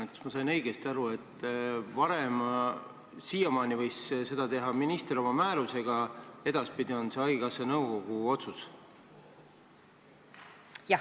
Kas ma sain õigesti aru, et varem võis seda teha minister oma määrusega, kuid edaspidi on see haigekassa nõukogu otsus?